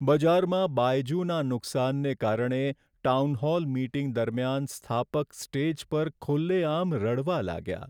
બજારમાં બાયજુના નુકસાનને કારણે ટાઉનહોલ મીટિંગ દરમિયાન સ્થાપક સ્ટેજ પર ખુલ્લેઆમ રડવા લાગ્યા.